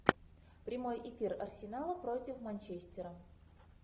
прямой эфир арсенала против манчестера